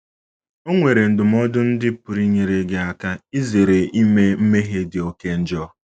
O nwere ndụmọdụ ndị pụrụ inyere gị aka izere ime mmehie dị oké njọ.